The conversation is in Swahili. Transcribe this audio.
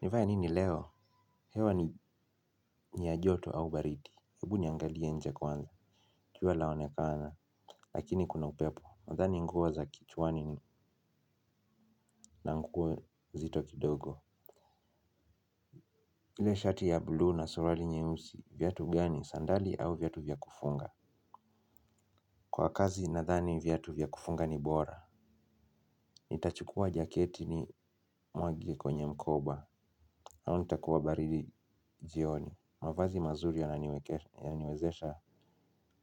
Nifanye nini leo? Hewa ni ya joto au baridi? Ebu niangalie nje kwanza. Jua laonekana. Lakini kuna upepo. Nadhani nguo za kichwani na nguo nzito kidogo. Ile shati ya bluu na suruali nyeusi. Viatu gani? Sandali au viatu vya kufunga? Kwa kazi nadhani viatu vya kufunga ni bora. Nitachukua jaketi nimwage kwenye mkoba. Nao nitakuwa baridi jioni. Mavazi mazuri yananiwezesha